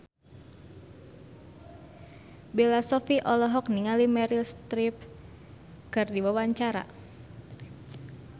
Bella Shofie olohok ningali Meryl Streep keur diwawancara